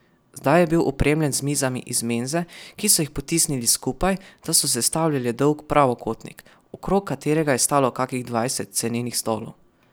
Zdaj je bil opremljen z mizami iz menze, ki so jih potisnili skupaj, da so sestavljale dolg pravokotnik, okrog katerega je stalo kakih dvajset cenenih stolov.